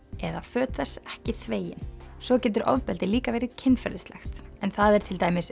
eða föt þess ekki þvegin svo getur ofbeldi líka verið kynferðislegt en það er til dæmis